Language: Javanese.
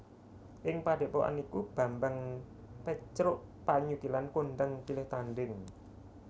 Ing padhepokan iku Bambang Pecrukpanyukilan kondhang pilih tandhing